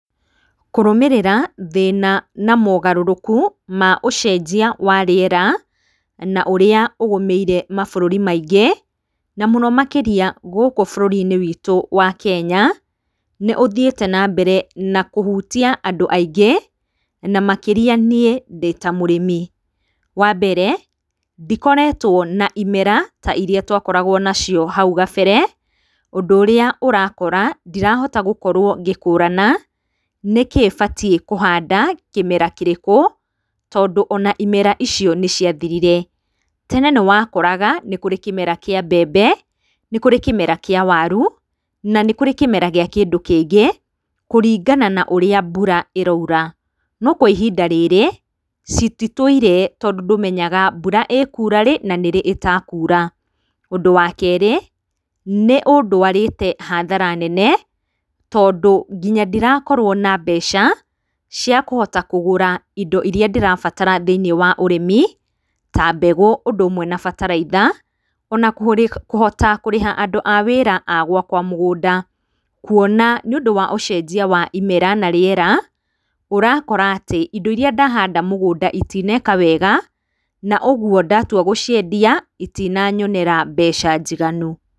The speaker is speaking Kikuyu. Kũrũmĩrĩra thĩna na mogarũrũku ma ũcenjia wa rĩera na ũrĩa ũgũmĩire ma bũrũri maingĩ na mũno makĩria gũkũ bũrũri-inĩ witũ wa Kenya nĩ ũthiĩte na mbere na kũhutia andũ aingĩ na makĩria niĩ ndĩta mũrĩmi. Wa mbere ndikoretwo na imera ta irĩa twakoragwo nacio hau gabere ũndũ ũrĩa ũrakora ndirahota ngĩkĩrwo ngĩkũrana nĩkĩ batiĩ kũhanda kĩmera kĩrĩkũ tondũ ona imera icio nĩ ciathirire. Tene nĩwakoraga nĩ kũrĩ kĩmera kĩa mbembe, nĩ kũrĩ kĩmera kĩa waru, na nĩ kũrĩ kĩmera kĩa kĩndũ kĩngĩ kũringana na ũrĩa mbura ĩroira. No kwa ihinda rĩrĩ cititũire, tondũ ndũmenyaga mbura kura rĩ na nĩrĩ ĩtakura. Ũndũ wa kerĩ, nĩ ũndwarĩte hathara nene, tondũ nginya ndirakorwo na mbeca cia kũhota kũgũra indo irĩa ndĩrabatara cia ũrĩmi ta mbegũ ũndũ ũmwe na bataraitha, ona kũhota kũrĩha andũ a wĩra agwakwa mũgũnda, kuona nĩ ũndũ wa ũcenjia wa rĩera, ũrakora atĩ indo irĩa ndahanda mũgũnda itineka wega, na ũguo ndatua gũciendia citinanyonera mbeca njiganu.